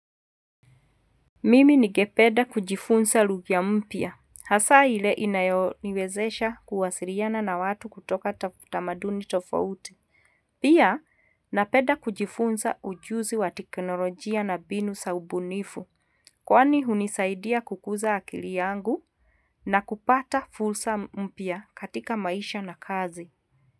Mimi ningepeda kujifunza lugha mpya hasa ile inayoniwezesha kuwasiriana na watu kutoka tamaduni tofauti Pia napeda kujifunza ujuzi wa teknolojia na binu sa ubunifu kwani hunisaidia kukuza akili yangu na kupata fulsa mpya katika maisha na kazi.